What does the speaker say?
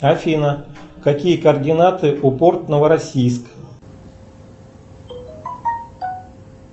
афина какие координаты у порт новороссийск